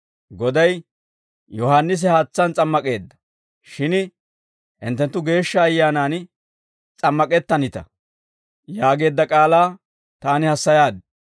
Goday, ‹Yohaannisi haatsaan s'ammak'eedda; shin hinttenttu Geeshsha Ayyaanaan s'ammak'ettanita› yaageedda k'aalaa taani hassayaaddi.